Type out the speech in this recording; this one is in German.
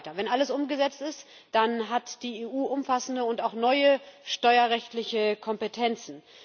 Wenn alles umgesetzt ist, dann hat die EU umfassende und auch neue steuerrechtliche Kompetenzen.